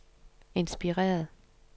inspireret